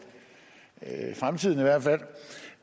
fremtiden